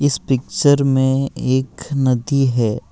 इस पिक्चर में एक नदी है।